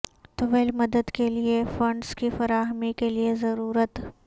طویل مدت کے لئے فنڈز کی فراہمی کے لئے ضرورت